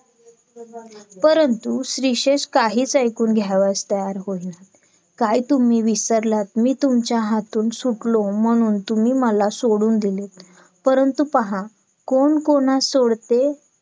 परंतु श्लीशेष काहीच ऐकून घ्यावयास तयार होईना काय तुम्ही विसरलात मी तुमच्या हातून सुटलो म्हणून तुम्ही मला सोडून दिले परंतु पहा कोण कोणास सोडते